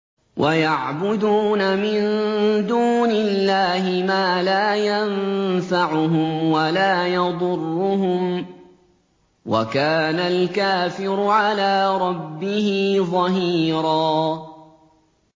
وَيَعْبُدُونَ مِن دُونِ اللَّهِ مَا لَا يَنفَعُهُمْ وَلَا يَضُرُّهُمْ ۗ وَكَانَ الْكَافِرُ عَلَىٰ رَبِّهِ ظَهِيرًا